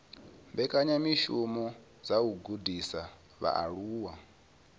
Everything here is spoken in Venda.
mbekanyamishumo dza u gudisa vhaaluwa